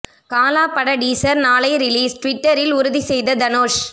காலா பட டீசர் நாளை ரிலீஸ் ட்விட்டரில் உறுதி செய்த தனுஷ்